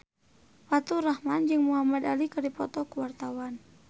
Faturrahman jeung Muhamad Ali keur dipoto ku wartawan